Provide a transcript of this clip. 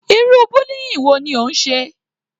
Irú bullying wo ni ó ń ṣe?